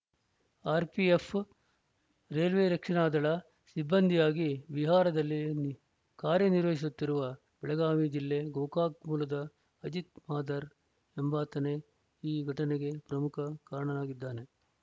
RPF railway ರಕ್ಷಣಾ ದಳ ಸಿಬ್ಬಂದಿಯಾಗಿ ಬಿಹಾರದಲ್ಲಿ ಕಾರ್ಯನಿರ್ವಹಿಸುತ್ತಿರುವ ಬೆಳಗಾವಿ ಜಿಲ್ಲೆ ಗೋಕಾಕ ಮೂಲದ ಅಜಿತ ಮಾದರ ಎಂಬಾತನೇ ಈ ಘಟನೆಗೆ ಪ್ರಮುಖ ಕಾರಣನಾಗಿದ್ದಾನೆ